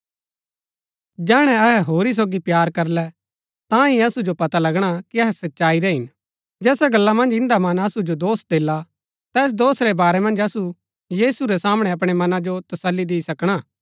जैहणै अहै होरी सोगी प्‍यार करलै तांही असु जो पता लगणा कि अहै सच्चाई रै हिन जैसा गल्ला मन्ज इन्दा मन असु जो दोष देला तैस दोष रै बारै मन्ज असु यीशु रै सामणै अपणै मनां जो तस्सली दी सकणा